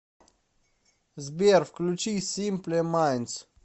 сбер включи симпле майндс